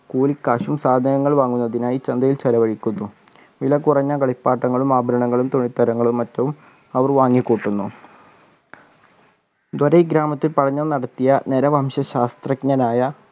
കൂലിക്കാശും സാധനങ്ങളും വാങ്ങുന്നതിനായി ചന്തയിൽ ചിലവഴിക്കുന്നു വിലകുറഞ്ഞ കളിപ്പാട്ടങ്ങളും ആഭരണങ്ങളും തുണിത്തരങ്ങളും മറ്റും അവർ വാങ്ങിക്കൂട്ടുന്നു ധ്വരി ഗ്രാമത്തിൽ പഠനം നടത്തിയ നരവംശ ശാസ്ത്രജ്ഞനായ